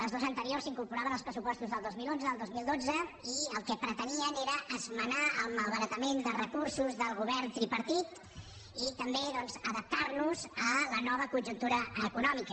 les dues anteriors s’incorporaven als pressupostos del dos mil onze del dos mil dotze i el que pretenien era esmenar el malbaratament de recursos del govern tripartit i també doncs adaptar nos a la nova conjuntura econòmica